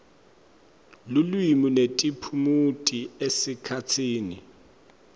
lulwimi netiphumuti esikhatsini